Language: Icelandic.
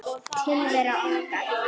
Tilvera okkar